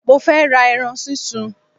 Mo fẹ́ ra eran sísun